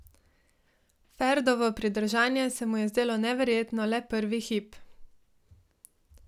Ferdovo pridržanje se mu je zdelo neverjetno le prvi hip.